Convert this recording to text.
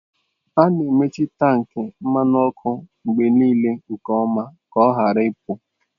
A na-emechi tankị mmanụ ọkụ mgbe niile nke ọma ka ọ ghara ịpụ.